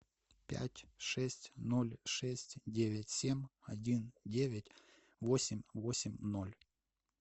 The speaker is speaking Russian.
пять шесть ноль шесть девять семь один девять восемь восемь ноль